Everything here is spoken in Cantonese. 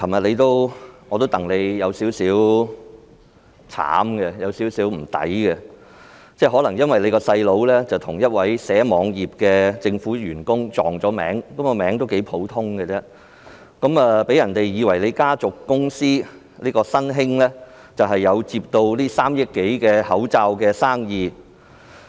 主席，我覺得你昨天有點可憐並有點替你不值，因為你的弟弟可能與一名編寫網頁的政府員工"撞名"，因這個名字頗為普遍，讓人以為你家族公司"新興織造廠有限公司"接下政府耗資3億多元的口罩生意。